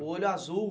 O olho azul.